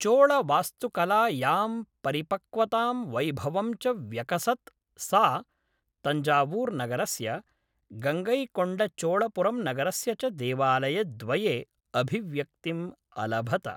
चोळवास्तुकला यां परिपक्वतां वैभवं च व्यकसत् सा तञ्जावूर्नगरस्य, गङ्गैकोण्डचोळपुरम्नगरस्य च देवालयद्वये अभिव्यक्तिम् अलभत।